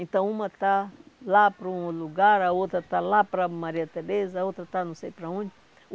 Então, uma está lá para um lugar, a outra está lá para Maria Tereza, a outra está não sei para onde.